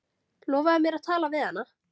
Lofaðu mér að tala við hana.